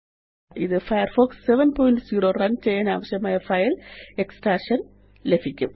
ഇത് Firefox 70 run ചെയ്യാനാവശ്യമായ file extraction ആരംഭിക്കും